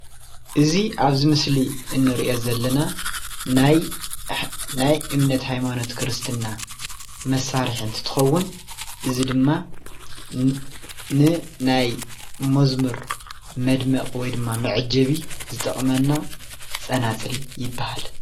እዚ አብዚ ምስሊ እንሪኦ ዘለና ናይ ናይ እምነት ሃይማኖት ክርስትና መሳርሒ እንትኸውን እዚ ድማ ንናይ መዝሙር መድምቂ ወይ ድማ መዐጀቢ ዝጠቅመና ፀናፅል ይበሃል።